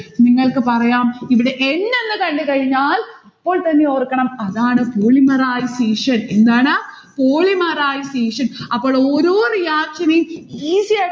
നിങ്ങൾക് പറയാം ഇവിടെ n എന്ന് കണ്ടുകഴിഞ്ഞാൽ അപ്പോൾത്തന്നെ ഓർക്കണം അതാണ് polymerization എന്താണ്? polymerization അപ്പോൾ ഓരോ reaction നെയും easy ആയിട്ട്